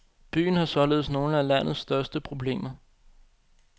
Byen har således nogle af landets største problemer.